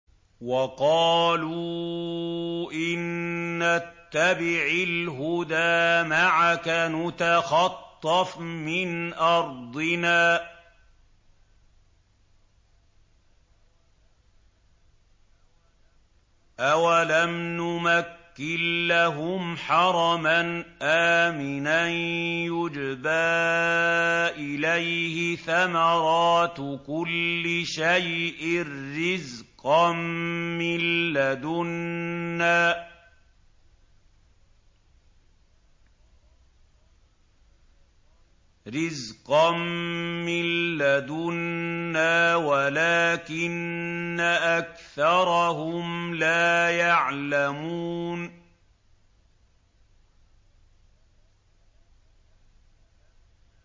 وَقَالُوا إِن نَّتَّبِعِ الْهُدَىٰ مَعَكَ نُتَخَطَّفْ مِنْ أَرْضِنَا ۚ أَوَلَمْ نُمَكِّن لَّهُمْ حَرَمًا آمِنًا يُجْبَىٰ إِلَيْهِ ثَمَرَاتُ كُلِّ شَيْءٍ رِّزْقًا مِّن لَّدُنَّا وَلَٰكِنَّ أَكْثَرَهُمْ لَا يَعْلَمُونَ